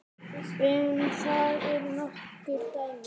Um það eru nokkur dæmi.